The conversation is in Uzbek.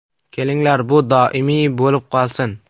Kelinglar, bu doimiy bo‘lib qolsin.